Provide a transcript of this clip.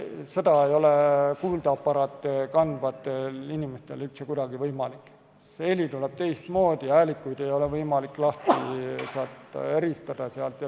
See ei ole kuuldeaparaati kandvatel inimestel üldse kuidagi võimalik, heli tuleb teistmoodi ja häälikuid ei ole võimalik eristada.